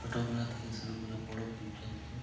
ছোটবেলা থেকে শুরু করে বড় পর্যন্ত।